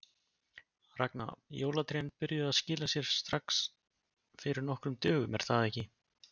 Ragna, jólatrén byrjuðu að skila sér strax fyrir nokkrum dögum er það ekki?